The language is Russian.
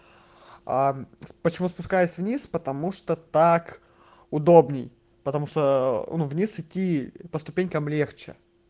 а почему спускаясь вниз потому что так удобней потому что о вниз идти по ступенькам легче